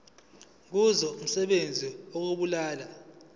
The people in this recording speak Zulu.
kuzo umsebenzi wokubulala